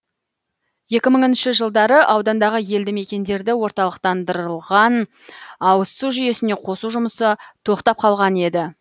екі мыңыншы жылдары аудандағы елді мекендерді орталықтандырылған ауызсу жүйесіне қосу жұмысы тоқтап қалған еді